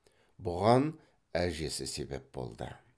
бұған әжесі себеп болды